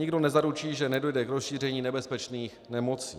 Nikdo nezaručí, že nedojde k rozšíření nebezpečných nemocí.